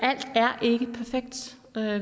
der er